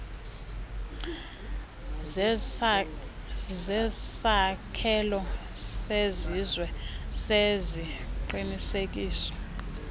zesakhelo sesizwe seziqinisekiso